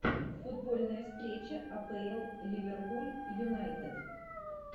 футбольная встреча апл ливерпуль юнайтед